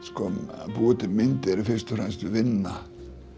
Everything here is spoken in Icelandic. að búa til myndir er fyrst og fremst vinna